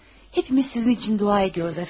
Hepimiz sizin üçün dua ediyoruz, əfəndim.